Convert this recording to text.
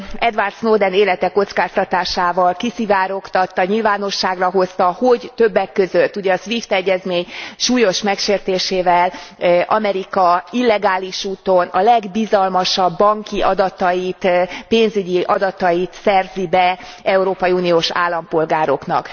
Edward Snowden az élete kockáztatásával kiszivárogtatta, nyilvánosságra hozta, hogy többek között a SWIFT egyezmény súlyos megsértésével Amerika illegális úton a legbizalmasabb banki adatait, pénzügyi adatait szerzi be európai uniós állampolgároknak.